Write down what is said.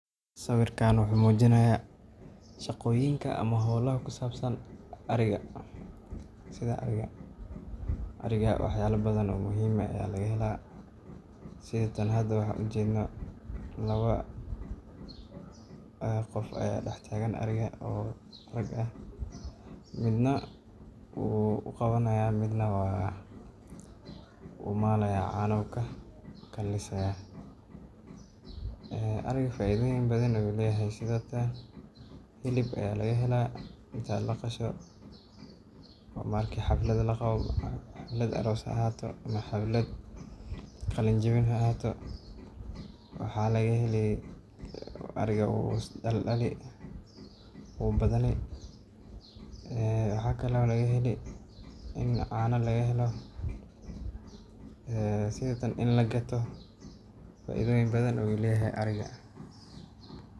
Sawirka wuxuu mujinaaya shaqoyinka ama holaha ku sabsan ariga sida tan aan ujeedno laba qof ayaa dex taagan ariga midna wuu uqabani haaya midna wuu maali haaya ariga faida badan ayuu leyahay hilib ayaa laga helaa wuu badani wuu is daldali in caana laga helo in lagato faida badan ayuu leyahay.